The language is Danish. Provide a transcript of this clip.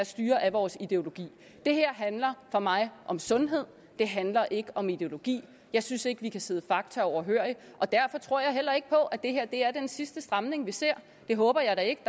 styre af vores ideologi det her handler for mig om sundhed det handler ikke om ideologi jeg synes ikke at vi kan sidde fakta overhørig og derfor tror jeg heller ikke på at det her er den sidste stramning vi ser det håber jeg da ikke